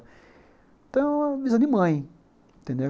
Então, a visão de mãe, entendeu?